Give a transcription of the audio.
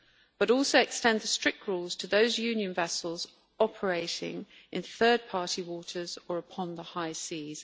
But it will also extend the strict rules to those Union vessels operating in third party waters or upon the high seas.